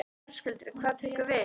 Höskuldur: Hvað tekur við?